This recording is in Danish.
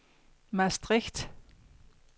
Maastricht